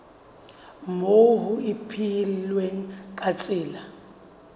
moo ho ipehilweng ka tsela